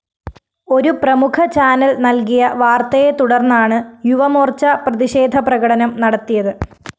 ഒരു പ്രമുഖ ചാനൽ നല്‍കിയ വാര്‍ത്തയെത്തുടര്‍ന്നാണ് യുവമോര്‍ച്ച പ്രതിഷേധപ്രകടനം നടത്തിയത്